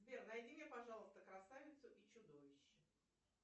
сбер найди мне пожалуйста красавицу и чудовище